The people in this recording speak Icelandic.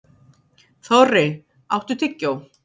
Þorri, áttu tyggjó?